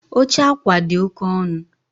Oche akwa dị oke ọnụ